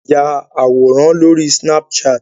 A lè ya àwòrán lóri snapchat.